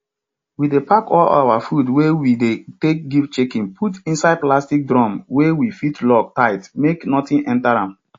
we dey pack all our food wey we dey take give chicken put inside plastic drum wey we fit lock tigh make nothing enter am